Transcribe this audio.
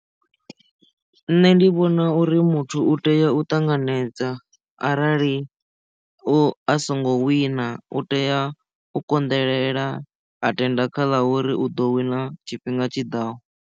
Nṋe ndi vhona uri muthu u tea u ṱanganedza arali u a songo wina u tea u konḓelela a tenda kha ḽa uri u ḓo wina tshifhinga tshiḓaho.